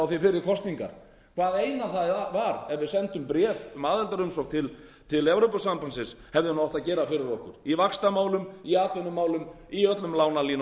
fyrir kosningar það eina það er var er við sendum bréf um aðildarumsókn til evrópusambandsins hefðu átt að gera fyrir okkur í vaxtamálum í atvinnumálum í öllum lánalínunum